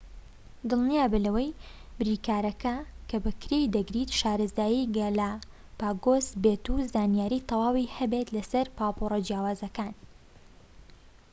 دڵنیابە لەوەی بریکارەکە کە بەکرێی دەگریت شارەزای گالاپاگۆس بێت و زانیاری تەواوی هەبێت لەسەر پاپۆرە جیاوازەکان